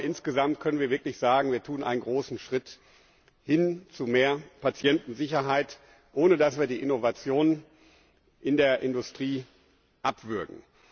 Insgesamt können wir wirklich sagen, wir tun einen großen Schritt hin zu mehr Patientensicherheit, ohne dass wir die Innovationen in der Industrie abwürgen.